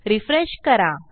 refresh करा